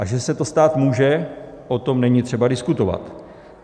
A že se to stát může, o tom není třeba diskutovat.